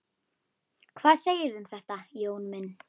Hvað segirðu um þetta, Jón minn?